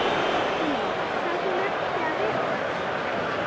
Lillý: Þarf hún ekki að vera það?